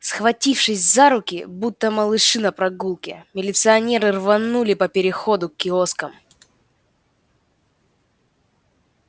схватившись за руки будто малыши на прогулке милиционеры рванули по переходу к киоскам